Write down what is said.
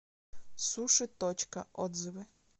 суши точка отзывы